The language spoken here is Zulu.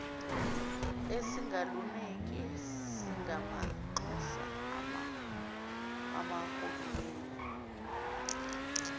esingaluniki singamanxusa akahulumeni